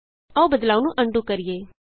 ਆਉ ਬਦਲਾਉ ਨੂੰ ਅਨਡੂ ਕਰੀਏ